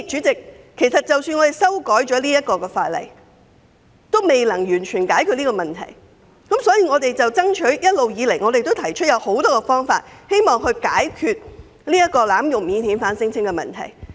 即使修改法例，也未能完全解決這問題，因此我們一直以來提出了很多方法，務求解決濫用免遣返聲請的困局。